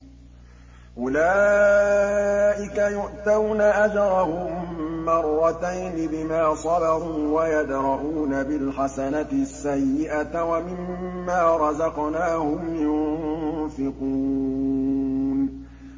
أُولَٰئِكَ يُؤْتَوْنَ أَجْرَهُم مَّرَّتَيْنِ بِمَا صَبَرُوا وَيَدْرَءُونَ بِالْحَسَنَةِ السَّيِّئَةَ وَمِمَّا رَزَقْنَاهُمْ يُنفِقُونَ